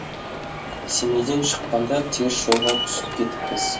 семейден шыққанда теріс жолға түсіп кетіппіз